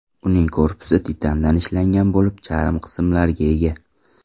Uning korpusi titandan ishlangan bo‘lib, charm qismlarga ega.